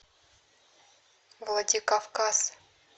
владикавказ